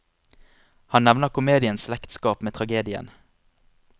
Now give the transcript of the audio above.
Han nevner komediens slektskap med tragedien.